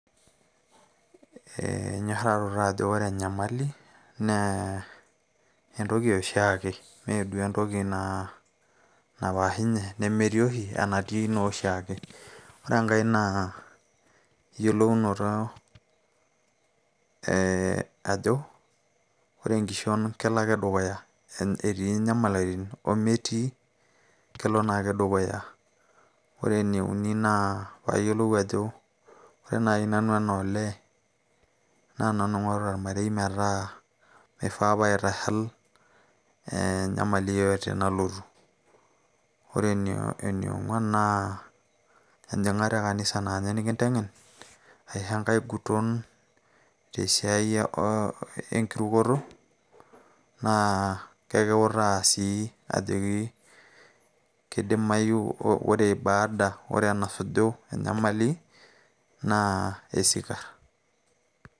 enyorraroto ajo ore enyamali naa entoki e oshiake meeduo entoki ina napaashunye nemetii oshi enatii naa oshiake ore enkay naa eyiolounoto ee ajo ore enkishon kelo ake dukuya etii nyamaliritin ometii kelo naake dukuya ore ene uni naa paayiolou ajo ore naaji nanu enaa olee naa nanu ing'orita ormarei metaa mifaa paitashal enyamali yeyote nalotu ore ene ong'uan naa enjing'ata e kanisa naa ninye nikiteng'en aisho enkay guton tesiai oo enkirukoto naa kekiutaa sii ajoki kidimayu ore baada ore enasuju enyamali naa esikarr.